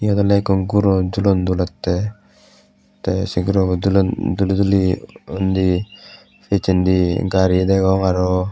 yot oley ikko guro julot dulettey tey sei gurobo dulon duli duli undi picchendi gari degong aro.